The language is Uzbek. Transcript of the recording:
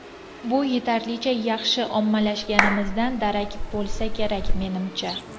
Bu yetarlicha yaxshi ommalashganimizdan darak bo‘lsa kerak, menimcha.